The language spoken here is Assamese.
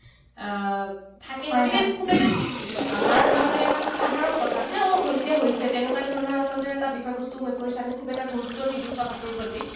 আহ থাকে গতিকে খুব এটা আমাৰ বাবে এটা খুব সাধাৰণ কথা। যে অ, হৈছে হৈছে। তেনেকুৱা ধৰণৰ আচলতে এটা বিষয়বস্তু হৈ পৰিছে। আমি খুব এটা গুৰুত্ব নিদিওঁ কথাটোৰ প্ৰতি।